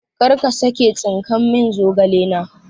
karka sake tsinkan min zogale na